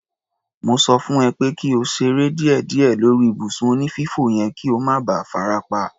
Mo sọ fún ẹ pé kí o ṣeré díẹ̀díẹ̀ lórí ibùsùn onífífò yẹn kí o má ba farapa.